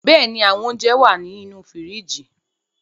Bẹ́ẹ̀ ní, àwọn ounjẹ wà á ní inú fíríjì.